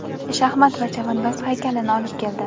shaxmat va chavandoz haykalini olib keldi.